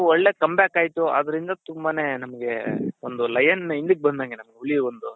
ಅದು ಒಳ್ಳೆ come back ಆಯಿತು ಅದರಿಂದ ತುಂಬಾನೇ ನಮ್ಗೆ ಒಂದು lion ಹಿಂದುಕ್ಕ್ ಬಂದಂಗೆ ಅದು ಹುಲಿ ಒಂದು .